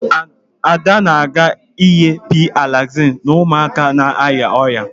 Ada na-aga inye P-Alaxin ụmụaka na-arịa ọrịa